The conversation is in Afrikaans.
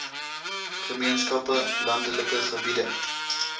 gemeenskappe landelike gebiede